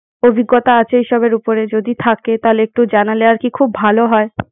অভিজ্ঞতা আছে এইসবের উপরে। যদি থাকে তাহলে একটু জানালে আর কি খুব ভালো হয়।